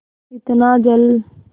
इतना जल